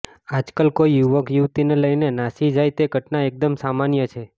આજકાલ કોઈ યુવક યુવતિને લઈને નાસી જાય તે ઘટના એકદમ સામાન્ય છે